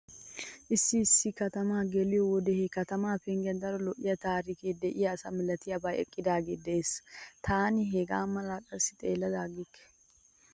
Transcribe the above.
Issi isssi katama geliyo wode he katamaa penggiyan daro lo'iya taarike de'iyo asaa milatiyabay eqqidaagee dees. Taani hegaa malaa qassi xeellada aggikke.